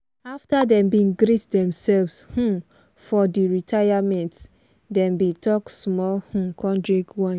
after dem bin greet themselves um for di retirememnt dem bin talk small um con drink wine